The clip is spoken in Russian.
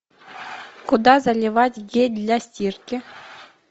куда заливать гель для стирки